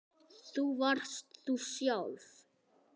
Þú varst þú sjálf.